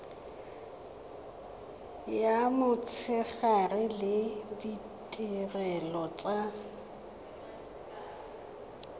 ya motshegare le ditirelo tsa